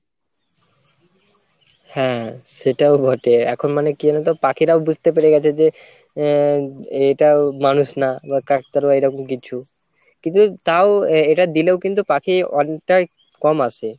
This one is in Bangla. হ্যাঁ সেটাও বটে এখন মানে কী জানো তো পাখিরাও বুঝতে পেরে গেছে যে আহ এটা মানুষ না বা কাকতাড়ুয়া বা এরকম কিছু কিন্তু তাও আহ এটা দিলেও কিন্তু পাখি অনেকটাই কম আসে।